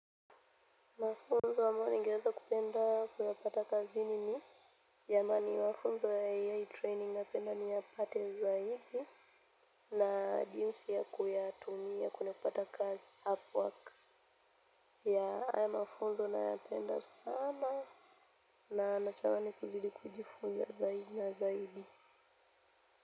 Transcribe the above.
Mafunzo ambayo ningeweza kupenda kuyapata kazini ni jamani mafunzo ya AI training napenda niyapate zaidi na jinsi ya kuyatumia kune kupata kazi up work ya haya mafunzo nayapenda sana na natamani kuzidi kujifunza zaidi na zaidi.